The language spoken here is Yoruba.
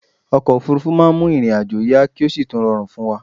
Okò òfúrufú ma n mu ìrìn ajo yá ki o si tún rorùn fún wa